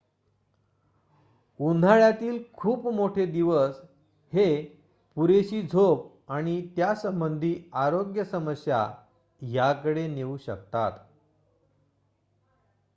उन्हाळ्यातील खूप मोठे दिवस हे पुरेशी झोप आणि त्यासंबंधी आरोग्य समस्या याकडे नेऊ शकतात